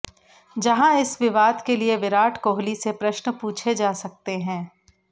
जहाँ इस विवाद के लिए विराट कोहली से प्रश्न पूछे जा सकते हैं